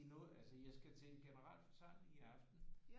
Det er noget altså jeg skal til en generalforsamling i aften